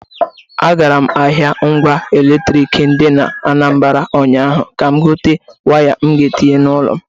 A gara m ahịa ngwa eletrik dị n’Anambara ụnyaahụ ka gote waya m ga-etinye n’ụlọ m.